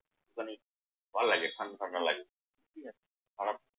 মানে ভাল্লাগে ঠান্ডা ঠান্ডা লাগে ঠিক আছে। আবার